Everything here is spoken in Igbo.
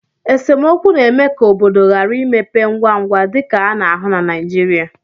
esemokwu na-eme ka obodo ghara ịmepe ngwa ngwa, dịka a na-ahụ na Naijirịa